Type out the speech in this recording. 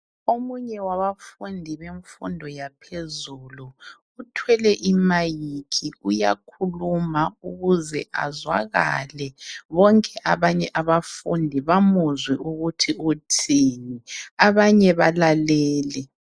Omunye wabafundi bemfundo yaphezulu uthwele i"mic" uyakhuluma ukuze azwakale bonke abanye abafundi bamuzwe ukuthi uthini, abanye balalele.